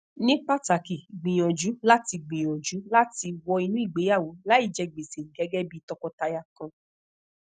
ni pataki gbiyanju lati gbiyanju lati wọ inu igbeyawo laije gbese gegebi tọkọtaya kan